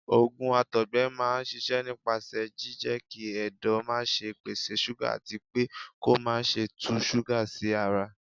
Ògùn Àtọ̀gbẹ máa ń ṣisẹ́ nípasẹ̀ jíjẹ́kí Ẹ̀dọ̀ máṣe pèsè ṣúgà àti pé kó má ṣe tú ṣúgà sí ara.